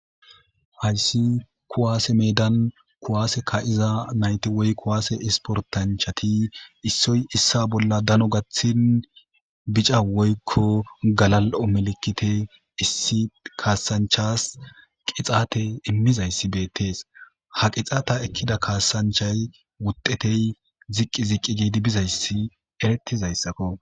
hayssi kuwaase medan kuwaase ka iza nayti woy kuwaase isportanchati issoy issa bolla dano gaththin bica woykko galal7o melikite issi kaasanchas qixate immizayssi beettees ha qixata ekkida kaasanchay wudetey ziqqi ziqqi giidi bizayssi eretizayssakko